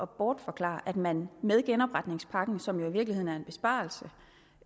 bortforklare at man med genopretningspakken som jo i virkeligheden er en besparelse